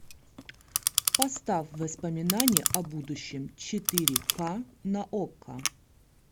поставь воспоминания о будущем четыре ка на окко